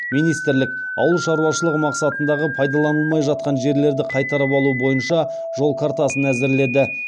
министрлік ауыл шаруашылығы мақсатындағы пайдаланылмай жатқан жерлерді қайтарып алу бойынша жол картасын әзірледі